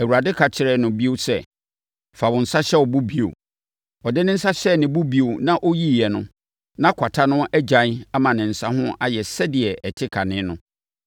Awurade ka kyerɛɛ no bio sɛ, “Fa wo nsa hyɛ wo bo bio.” Ɔde ne nsa hyɛɛ ne bo bio na ɔyiiɛ no, na kwata no agyae ama ne nsa no ho ayɛ sɛdeɛ ɛte kane no.